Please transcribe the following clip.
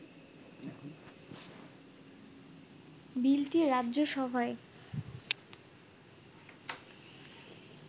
বিলটি রাজ্যসভায়